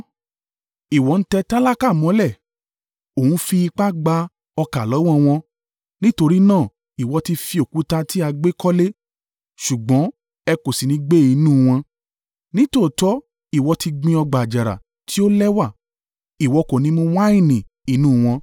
Ìwọ ń tẹ tálákà mọ́lẹ̀ o ń fi ipá gba ọkà lọ́wọ́ wọn. Nítorí náà, ìwọ ti fi òkúta tí a gbẹ́ kọ́lé ṣùgbọ́n ẹ kò sì ní gbé inú wọn, Nítòótọ́ ìwọ ti gbin ọgbà àjàrà tí ó lẹ́wà. Ìwọ kò ní mu wáìnì inú wọn.